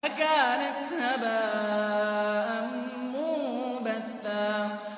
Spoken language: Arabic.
فَكَانَتْ هَبَاءً مُّنبَثًّا